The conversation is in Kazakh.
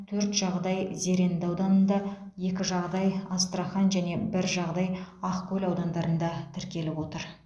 төрт жағдай зеренді ауданында екі жағдай астрахань және бір жағдай ақкөл аудандарында тіркеліп отыр